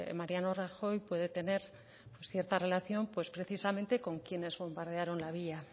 mariano rajoy puede tener cierta relación precisamente con quienes bombardearon la villa